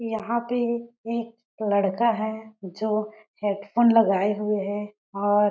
यहाँ पे एक लड़का है जो हैडफ़ोन लगाए हुए है और--